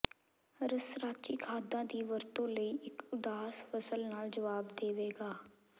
ਰਸਰਾਚੀ ਖਾਦਾਂ ਦੀ ਵਰਤੋਂ ਲਈ ਇੱਕ ਉਦਾਰ ਫ਼ਸਲ ਨਾਲ ਜਵਾਬ ਦੇਵੇਗਾ